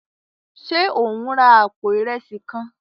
Ṣe o n rà apó Ìrẹsí kàn?